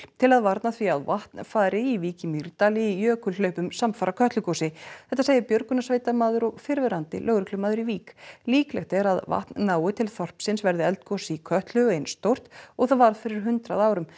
til að varna því að vatn fari í Vík í Mýrdal í jökulhlaupum samfara Kötlugosi þetta segir björgunarsveitarmaður og fyrrverandi lögreglumaður í Vík líklegt er talið að vatn nái til þorpsins verði eldgos í Kötlu eins stórt og það var fyrir hundrað árum